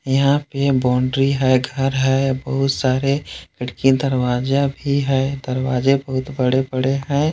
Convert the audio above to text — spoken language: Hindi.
यहाँ पे बॉउंड्री है घर है बहुत सारे खिड़की दरवाजा भी है। दरवाजे बहुत बड़े बड़े हैं।